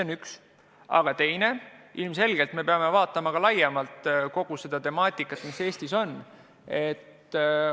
Ja teine on see, et ilmselgelt me peame vaatama laiemalt kogu seda temaatikat, mis Eestis päevakorral on.